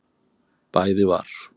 Bæði var